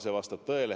See vastab tõele.